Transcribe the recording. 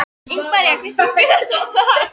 Ingimaría, hver syngur þetta lag?